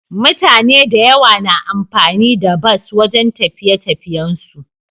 Mutane da yawa na amfani da bus wajan tafiye tafiyen su